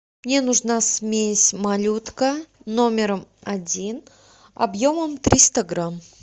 мне нужна смесь малютка номер один объемом триста грамм